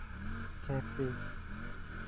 Kepii